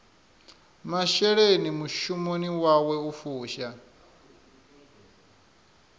masheleni mushumoni wawe u fusha